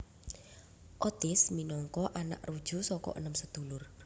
Otis minangka anak ruju saka enem sedulur